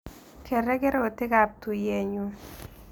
Ker regerotiikap tuiyet nyun